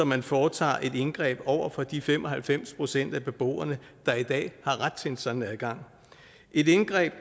man foretager et indgreb over for de fem og halvfems procent af beboerne der i dag har ret til en sådan adgang et indgreb